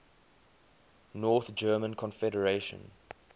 north german confederation